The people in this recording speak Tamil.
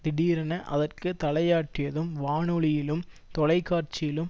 திடீரென அதற்கு தலையாட்டியதும் வானொலியிலும் தொலை காட்சியிலும்